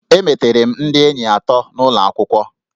Emetere m ndị enyi atọ n'ụlọ akwụkwọ